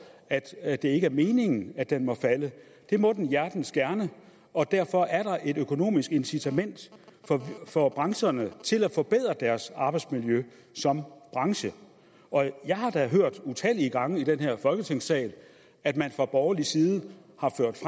at det ikke er meningen at den må falde det må den hjertens gerne derfor er der et økonomisk incitament for brancherne til at forbedre deres arbejdsmiljø som brancher og jeg har da hørt utallige gange i den her folketingssal at man fra borgerlig side